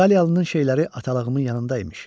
İtaliyalının şeyləri atalığımın yanında imiş.